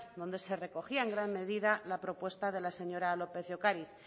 donde se recogía en gran medida la propuesta de la señora lópez de ocariz